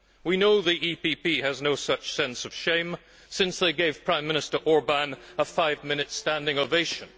We know the EPP has no such sense of shame since they gave Prime Minister Orbán a five minute standing ovation.